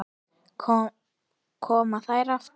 Koma þær aftur?